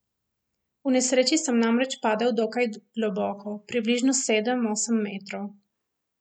V nesreči sem namreč padel dokaj globoko, približno sedem, osem metrov.